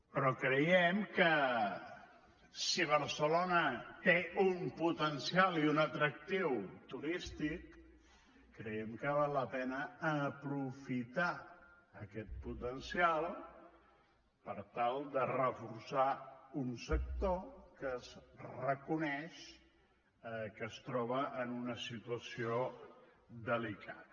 però creiem que si barcelona té un potencial i un atractiu turístic creiem que val la pena aprofitar aquest potencial per tal de reforçar un sector que es reconeix que es troba en una situació delicada